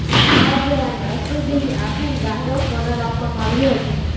આ જવાનને અશ્રુભીની આંખેડ ગાર્ડ ઓફ ઓનર આપવામાં આવ્યું હતું